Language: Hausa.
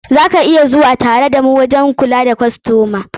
Za ka iya zuwa tare da mu waje mai kula da kostomomi.